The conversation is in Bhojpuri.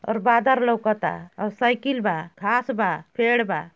और बादर लउकता औ सईकील बा खास बा फेड़ बा।